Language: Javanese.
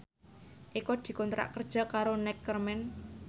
Eko dikontrak kerja karo Neckerman